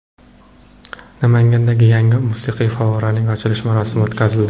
Namanganda yangi musiqiy favvoraning ochilish marosimi o‘tkazildi.